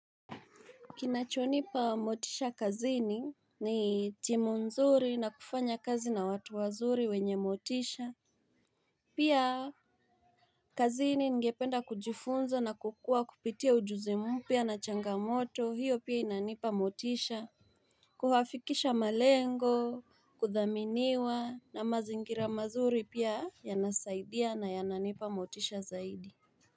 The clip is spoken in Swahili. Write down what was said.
Kinachonipa motisha kazini ni timu nzuri na kufanya kazi na watu wazuri wenye motisha Pia kazini ningependa kujifunza na kukua kupitia ujuzi mpya na changamoto hiyo pia inanipa motisha Kuhafikisha malengo kuthaminiwa na mazingira mazuri pia yanasaidia na yananipa motisha zaidi.